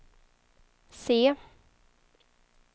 C